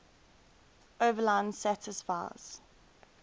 overline satisfies